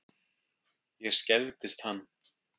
Ég skelfdist hann.